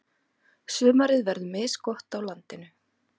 Sumarið verður misgott á landinu.